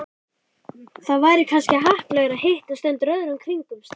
Það væri kannski heppilegra að hittast undir öðrum kringumstæðum